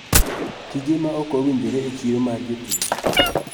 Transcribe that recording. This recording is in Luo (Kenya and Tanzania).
Tije ma ok owinjore e chiro mar jotich.